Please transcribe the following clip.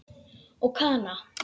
Og Kana?